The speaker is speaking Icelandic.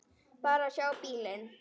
Bara að sjá bílinn.